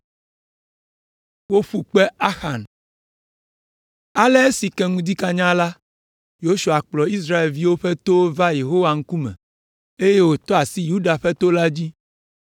Ale esi ŋu ke ŋdi kanya la, Yosua kplɔ Israelviwo ƒe towo va Yehowa ŋkume, eye wòtɔ asi Yuda ƒe to la dzi.